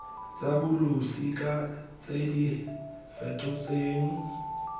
tsa bolosika tse di fetotsweng